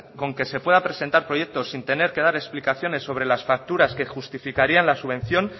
con que se pueda presentar proyectos sin tener que dar explicaciones sobre las facturas que justificarían la subvención